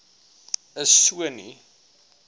is so nie